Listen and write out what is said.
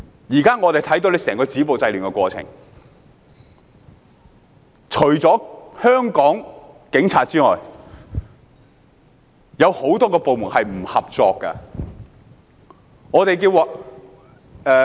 現時我們看到政府整個止暴制亂的過程，除了香港警方之外，有很多部門是不合作的。